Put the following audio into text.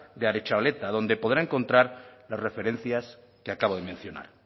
de aretxabaleta donde podrá encontrar las referencias que acabo de mencionar